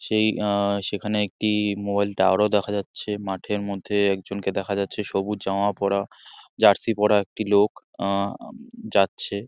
সেই আহ সেখানে একটি মোবাইল টাওয়ার ও দেখা যাচ্ছে। মাঠের মধ্যে এক জনকে দেখা যাচ্ছে। সবুজ জামা পরা জার্সি পরা একটি লোক। আহ যাচ্ছে।